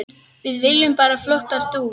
Við viljum bara flottar dúfur.